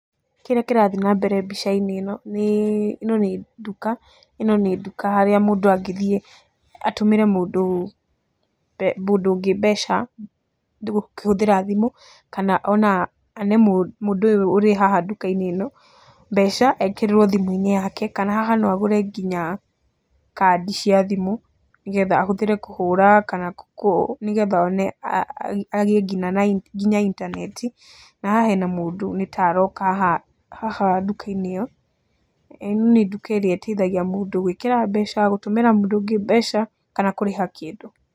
Kĩrĩa kĩrathiĩ na mbere mbica-inĩ ĩno, ĩno nĩ nduka harĩa mũndũ angĩthiĩ atũmĩre mũndũ ũngĩ mbeca, kũhũthĩra thimũ kana ona ane mũndũ ũyũ ũrĩ haha ndũka-inĩ ĩno mbeca ekĩrĩrwo thimũ-inĩ yake. Kana haha no agũre nginya kandi cia thimũ nĩ getha ahũthĩre kũhũra kana nĩ getha agĩe nginya na intaneti. Na haha hena mũndũ nĩ ta aroka haha nduka-inĩ ĩyo, ĩni nduka ĩrĩa ĩteithaigaia mũndũ gwĩkĩra mbeca, gũtũmĩra mũndũ ũngĩ mbeca kana kũrĩha kĩndũ.